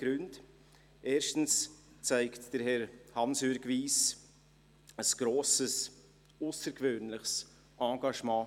Dies aus drei Gründen: Erstens zeigt Herr Hansjörg Wyss weltweit ein grosses, aussergewöhnliches Engagement.